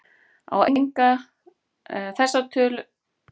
Á enga líst mér eins og þig, þótt allar fyrir mér virði.